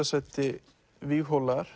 sæti